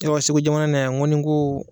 Ayiwa Segu jamana na yan ŋo ni n koo